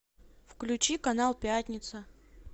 включи канал пятница